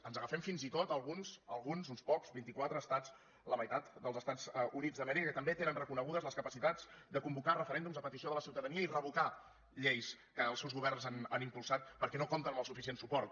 ens agafem fins i tot a alguns alguns uns pocs vint i quatre estats la meitat dels estats units d’amèrica que també tenen reconegudes les capacitats de convocar referèndums a petició de la ciutadania i revocar lleis que els seus governs han impulsat perquè no compten amb el sufi cient suport